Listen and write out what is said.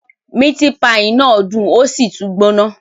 Miti paii náà dun osi tun gbona